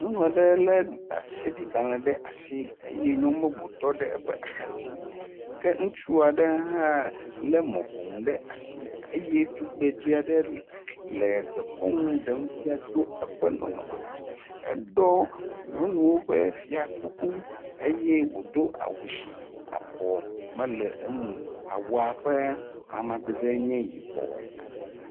Nyɔnu aɖe le ɖaseɖigbalɛ ɖe asi eye nyɔnu bubu yɔ ɖe eƒe axadzi ke ŋutsu aɖe hã le mɔƒonu ɖe asi eye tugbedzɛ aɖe le dekɔnu ɖem fia tɔ eƒe nɔnɔme me, eɖɔ nyɔnuwo ƒe fiakuku eye wodo awu si abɔ mele eŋuo. Awua ƒe amadede enye yibɔ.